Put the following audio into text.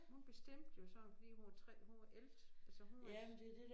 Hun bestemte jo så fordi hun var 3 hun var ældst altså hun var